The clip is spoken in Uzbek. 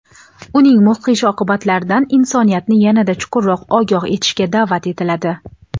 uning mudhish oqibatlaridan insoniyatni yana-da chuqurroq ogoh etishga daʼvat etiladi.